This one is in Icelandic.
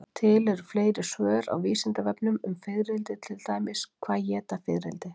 Til eru fleiri svör á Vísindavefnum um fiðrildi, til dæmis: Hvað éta fiðrildi?